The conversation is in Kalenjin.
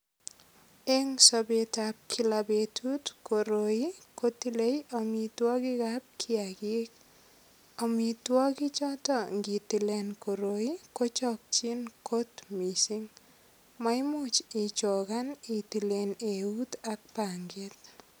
Eng sobetab kila betut, koroi kotilei amitwogik ab kiagik. Amitwogi choto ngitile koroi kochokchin kot mising. Maimuch ichogan itilen eut ak panget.